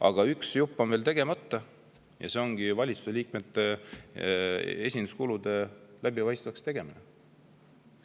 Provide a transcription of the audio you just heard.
Aga üks jupp on veel tegemata ja see ongi valitsuse liikmete esinduskulude läbipaistvaks tegemine.